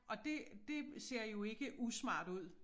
Og det det ser jo ikke usmart ud